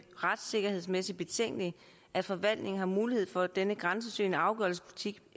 retssikkerhedsmæssigt betænkeligt at forvaltningen har mulighed for denne grænsesøgende afgørelsespolitik